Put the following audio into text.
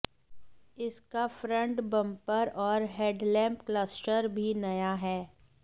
इसका front bumper और headlamp cluster भी नया है